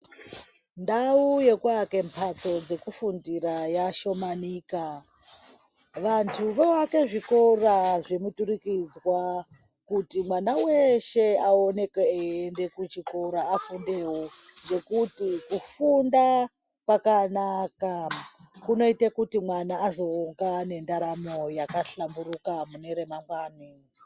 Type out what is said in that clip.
Ndau yekuaka mhatso dzekufundira dzashomanika. Vantu voake zvikora zvemuturikidzwa kuti mwana weeshe aoneke eiende kuchikora afundewo ngekuti kufunda kwakanaka kunoite kuti mwana azonga ane ndaramo yakahlamburuka mune ramangwani.